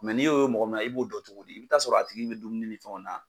n'i y'o ye mɔgɔ min na i b'o dɔn cogo di i bɛ t'a sɔrɔ a tigi bɛ dumuni ni fɛnw na